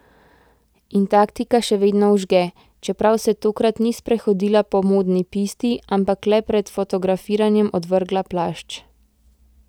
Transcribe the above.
In taktika še vedno vžge, čeprav se tokrat ni sprehodila po modni pisti, ampak le pred fotografiranjem odvrgla plašč.